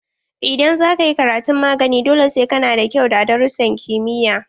Idan za ka yi karatun magani, dole sai ka na da kyau a darussan kimiyya.